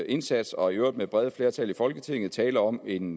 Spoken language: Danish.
indsats og i øvrigt med brede flertal i folketinget tale om en